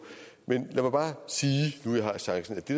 men lad mig bare sige nu jeg har chancen at det